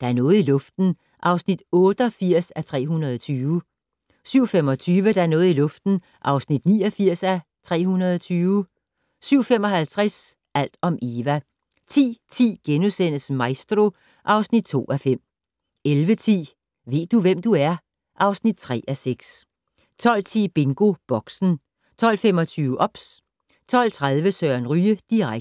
Der er noget i luften (88:320) 07:25: Der er noget i luften (89:320) 07:55: Alt om Eva 10:10: Maestro (2:5)* 11:10: Ved du, hvem du er? (3:6) 12:10: BingoBoxen 12:25: OBS 12:30: Søren Ryge direkte